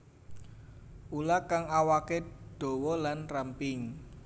Ula kang awaké dawa lan ramping